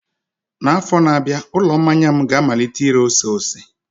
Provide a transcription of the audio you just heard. N'afọ na-abịa, ụlọ mmanya m ga-amalite ire ose ose.